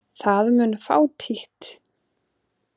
Það mun fátítt.